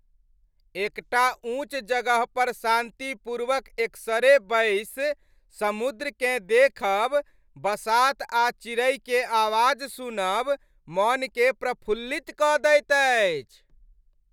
एकटा ऊंच जगह पर शान्तिपूर्वक एकसरे बैसि समुद्रकेँ देखब, बसात आ चिड़ै के आवाज सुनब मनकेँ प्रफुल्लित कऽ दैत अछि।